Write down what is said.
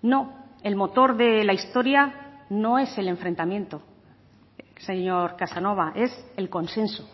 no el motor de la historia no es el enfrentamiento señor casanova es el consenso